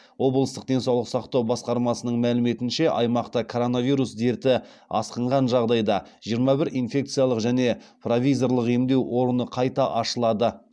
облыстық денсаулық сақтау басқармасының мәліметінше аймақта коронавирус дерті асқынған жағдайда жиырма бір инфекциялық және провизорлық емдеу орны қайта ашылады